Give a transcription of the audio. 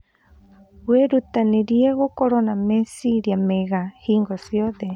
Wĩrutanĩrie gũkorwo na meciria mega hingo ciothe.